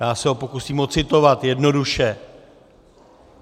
Já se ho pokusím odcitovat jednoduše: